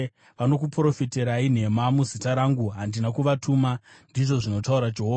Vanokuprofitirai nhema muzita rangu. Handina kuvatuma,” ndizvo zvinotaura Jehovha.